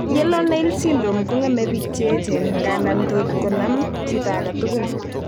Yellow nail syndrome kong'eme biik cheyechen, ngandan tot konam chito agetugul